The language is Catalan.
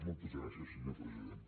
moltes gràcies senyor president